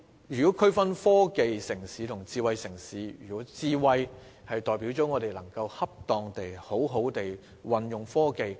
如要區分科技城市和智慧城市，"智慧"代表我們能恰當地善用科技。